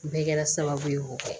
Bɛɛ kɛra sababu ye k'o kɛ